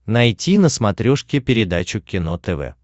найти на смотрешке передачу кино тв